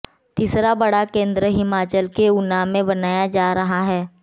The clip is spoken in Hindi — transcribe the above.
तीसरा बड़ा केंद्र हिमाचल के ऊना में बनाया जा रहा है